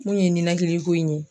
Min kun ye ninakili ko in ye